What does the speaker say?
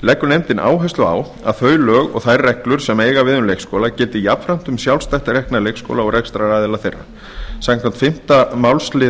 leggur nefndin áherslu á að þau lög og þær reglur sem eiga við um leikskóla gildi jafnframt um sjálfstætt rekna leikskóla og rekstraraðila þeirra samkvæmt fimmtu málsl